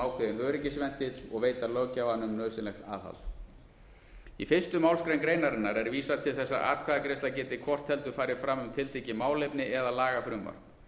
ákveðinn öryggisventill og veita löggjafanum nauðsynlegt aðhald í fyrstu málsgrein greinarinnar er vísað til þess að atkvæðagreiðsla geti hvort heldur farið fram um tiltekið málefni eða lagafrumvarp